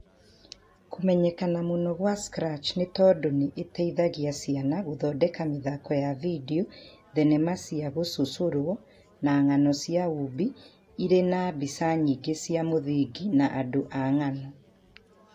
kũmenyekana mũno kwa Scratch nĩ tondũ nĩ ĩteithagia ciana gũthondeka mĩthako ya vidio, thenema cia gũcũcorwo, na ng'ano cia ũũmbi irĩ na mbica nyingĩ cia mũthingi na andũ a ng'ano